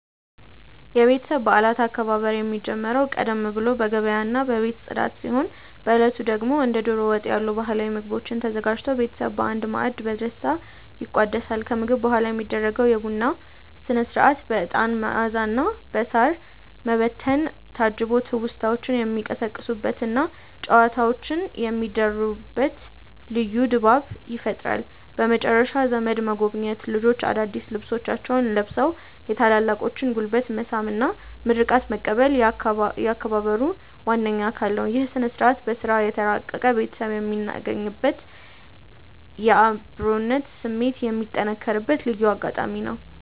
የቤተሰብ በዓላት አከባበር የሚጀምረው ቀደም ብሎ በገበያና በቤት ጽዳት ሲሆን፣ በዕለቱ ደግሞ እንደ ደሮ ወጥ ያሉ ባህላዊ ምግቦች ተዘጋጅተው ቤተሰብ በአንድ ማዕድ በደስታ ይቋደሳል። ከምግብ በኋላ የሚደረገው የቡና ሥነ-ሥርዓት በዕጣን መዓዛና በሳር መበተን ታጅቦ ትውስታዎች የሚቀሰቀሱበትና ጨዋታዎች የሚደሩበት ልዩ ድባብ ይፈጥራል። በመጨረሻም ዘመድ መጎብኘት፣ ልጆች አዳዲስ ልብሶቻቸውን ለብሰው የታላላቆችን ጉልበት መሳም እና ምርቃት መቀበል የአከባበሩ ዋነኛ አካል ናቸው። ይህ ሥነ-ሥርዓት በሥራ የተራራቀ ቤተሰብ የሚገናኝበትና የአብሮነት ስሜት የሚጠነክርበት ልዩ አጋጣሚ ነው።